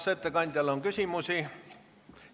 Kas ettekandjale on küsimusi?